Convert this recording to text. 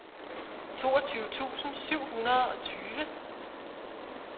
toogtyve tusind syv hundrede og tyve